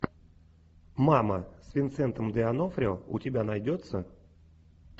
мама с винсентом д онофрио у тебя найдется